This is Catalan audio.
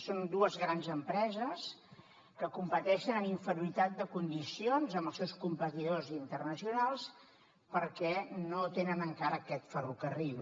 són dues grans empreses que competeixen en inferioritat de condicions amb els seus competidors internacionals perquè no tenen encara aquest ferrocarril